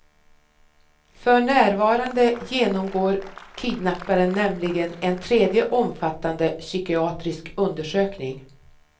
För närvarande genomgår kidnapparen nämligen en tredje omfattande psykiatrisk undersökning.